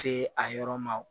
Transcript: Se a yɔrɔ ma